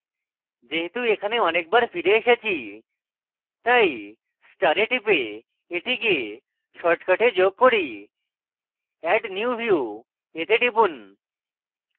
যেহেতু এখানে অনেকবার ফিরে এসেছি তাই star টিপে এটিকে shortcuts যোগ করি add new view তে টিপুন